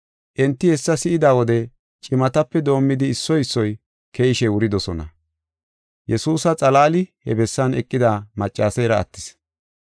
Enti hessa si7ida wode cimatape doomidi issoy issoy keyishe wuridosona. Yesuusa xalaali he bessan eqida maccaseera attis.